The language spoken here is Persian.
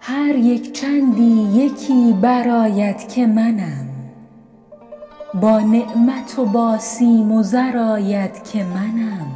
هر یک چندی یکی برآید که منم با نعمت و با سیم و زر آید که منم